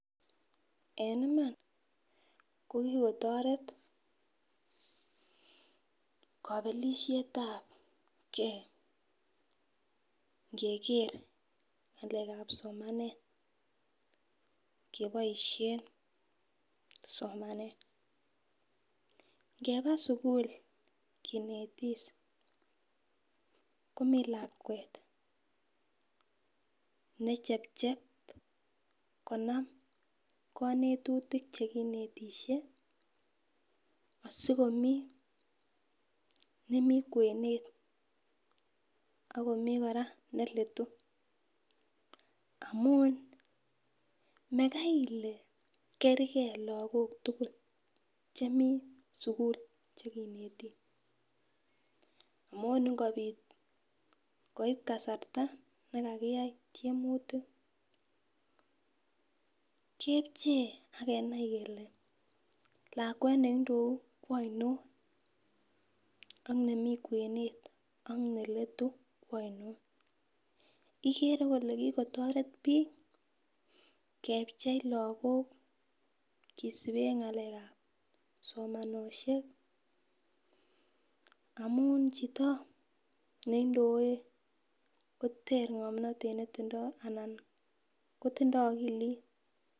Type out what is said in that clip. En Iman kokikotoret kopelishetabgee ikeger ngalekab somanet keboishen somanet, ngeba sukul kinetis komii lakwet nechepchep konam konetutik chekinetishe asikiomiii nemii kwenet ak komii neletu amun mekai ile kergee lokok tukul chemii sukul chekineti amun ingobit koit kasarta nekakiyai tyemutik kepchei ak kenai kele lakwet neindou kwoinon ak nemii kwenet kwoinon, ikere kole kikotoret bik kepchei lokok kosiben ngalekab somanenoshek amun chito neindoe koter ngomnotet netindo anan kotindo okilit.